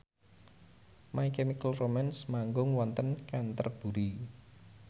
My Chemical Romance manggung wonten Canterbury